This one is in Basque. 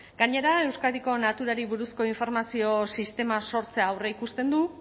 gainera euskadiko naturari buruzko informazio sistema sortzea aurreikusten du